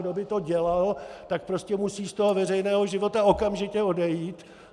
Kdo by to dělal, tak prostě musí z toho veřejného života okamžitě odejít.